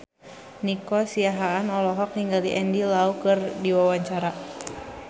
Nico Siahaan olohok ningali Andy Lau keur diwawancara